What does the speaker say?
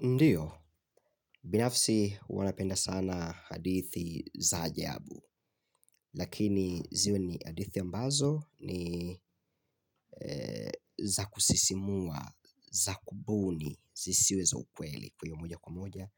Ndiyo, binafsi huwa napenda sana hadithi za ajabu. Lakini ziwe ni hadithi ambazo ni za kusisimua, za kubuni zisiwe za ukweli. Kwa hiyo moja kwa moja